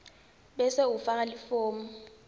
bese ufaka lifomu